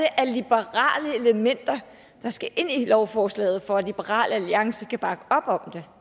af liberale elementer der skal ind i lovforslaget for at liberal alliance kan bakke op om det